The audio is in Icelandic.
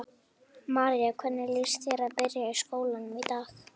María: Hvernig líst þér á að byrja í skólanum í dag?